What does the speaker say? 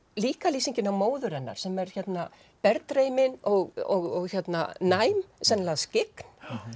líka lýsingin á móður hennar sem er og næm sennilega skyggn